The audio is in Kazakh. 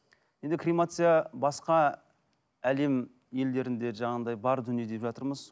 енді кремация басқа әлем елдерінде жаңағындай бар дүние деп жатырмыз